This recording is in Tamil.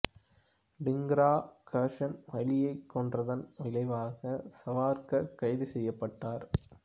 டிங்கரா கர்ஸன் வைலியைக் கொன்றதன் விளைவாக சாவர்க்கர் கைது செய்யப்பட்டார்